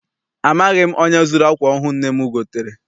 Amaghị m onye zuru akwa ọhụụ nne m gotere.